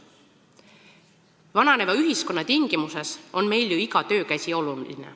Vananeva ühiskonna tingimustes on meil ju iga töökäsi oluline.